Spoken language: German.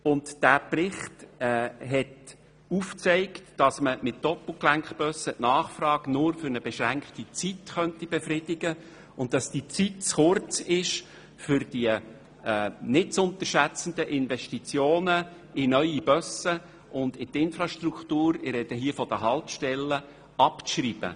Diesen haben wir in der BaK gesehen, und er zeigt auf, dass die Nachfrage mit Doppelgelenkbussen nur für eine beschränkte Zeit befriedigt werden könnte und dass die Zeit zu kurz ist, um die nicht zu unterschätzenden Investitionen in neue Busse und die Infrastruktur – ich spreche hier von den Haltestellen – abzuschreiben.